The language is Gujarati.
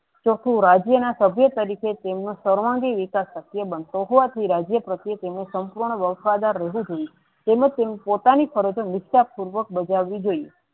તો શુ રાજ્ય ના સભ્ય તરીકે તેમનું સર્વાંગી વિકાસ શક્ય બનતો હોત એ રાજ્ય પ્રતિ તેનું સંપૂર્ણ વફાદાર રેહવું જોયીયે તેમજ તેને પોતાની ફરજો નિકાસ પૂર્વ બજાવી જોયીયે.